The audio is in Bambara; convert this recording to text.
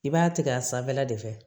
I b'a tigɛ a sanfɛla de fɛ